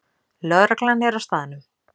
Lögreglan er á staðnum